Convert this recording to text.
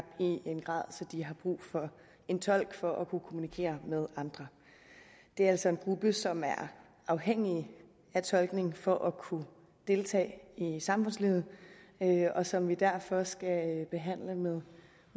i en grad så de har brug for en tolk for at kunne kommunikere med andre det er altså en gruppe som er afhængige af tolkning for at kunne deltage i samfundslivet og som vi derfor skal behandle med